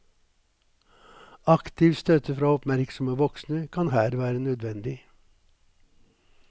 Aktiv støtte fra oppmerksomme voksne kan her være nødvendig.